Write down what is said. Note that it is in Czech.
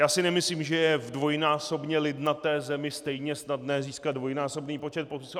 Já si nemyslím, že je v dvojnásobně lidnaté zemi stejně snadné získat dvojnásobný počet podpisů.